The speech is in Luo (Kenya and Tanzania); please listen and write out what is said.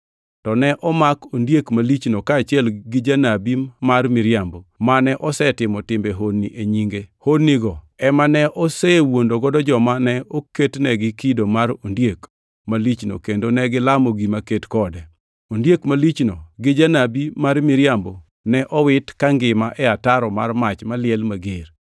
To ne omak ondiek malichno kaachiel gi janabi mar miriambo, mane osetimo timbe honni e nyinge. Honnigo ema ne osewuondogo joma ne oketnegi kido mar ondiek malichno kendo negilamo gima ket kode. Ondiek malichno gi Janabi mar miriambo ne owiti kangima e ataro mar mach maliel mager.